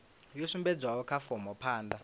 yo sumbedzwaho kha fomo phanda